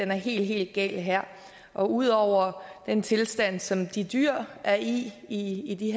er helt helt galt her og ud over den tilstand som de dyr er i i i de